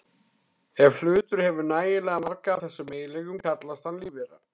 Ef hlutur hefur nægilega marga af þessum eiginleikum kallast hann lífvera.